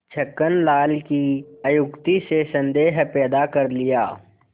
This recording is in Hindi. छक्कन लाल की अत्युक्ति से संदेह पैदा कर लिया